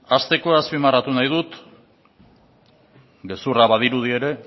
hasteko azpimarratu nahi dut gezurra badirudi ere